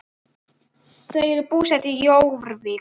Þau eru búsett í Jórvík.